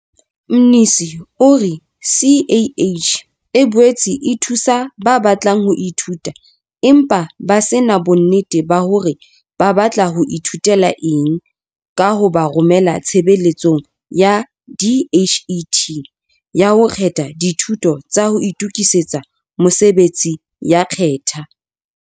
Mnisi o re CACH e boetse e thusa ba batlang ho ithuta empa ba se na bonnete ba hore ba batla ho ithutela eng ka ho ba romela Tshebeletsong ya DHET ya ho kgetha Dithuto tsa ho Itokisetsa Mosebetsi ya Khetha.